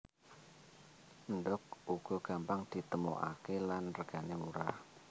Endhog uga gampang ditemokaké lan regané murah